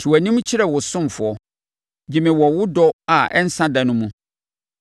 Te wʼanim kyerɛ wo ɔsomfoɔ; gye me wɔ wo dɔ a ɛnsa da no mu.